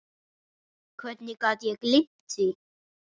Hvernig gat ég gleymt því?